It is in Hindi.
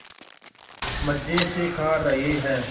मज़े से खा रहे हैं